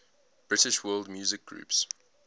british world music groups